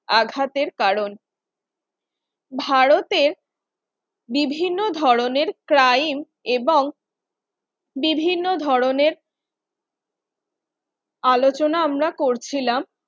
আঘাতের কারণ ভারতে বিভিন্ন ধরনের crime এবং বিভিন্ন ধরনের আলোচনা আমরা করছিলাম